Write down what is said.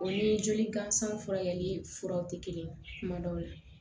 O ni joli gansan furakɛli furaw tɛ kelen ye kuma dɔw la